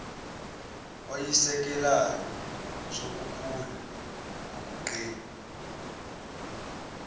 oyisisekelo sokukhula ngokuqina